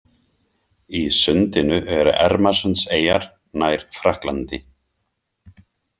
Í sundinu eru Ermarsundseyjar, nær Frakklandi.